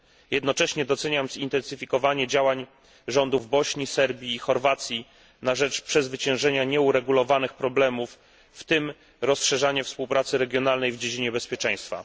Jednocześnie doceniam zintensyfikowanie działań rządów Bośni, Serbii i Chorwacji na rzecz przezwyciężenia nieuregulowanych problemów, w tym rozszerzanie współpracy regionalnej w dziedzinie bezpieczeństwa.